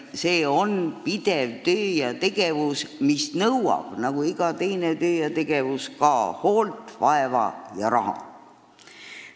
See on pidev töö ja tegevus, mis nõuab nagu iga muu töö ja tegevus hoolt, vaeva ja raha.